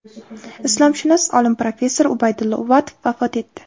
Islomshunos olim, professor Ubaydulla Uvatov vafot etdi.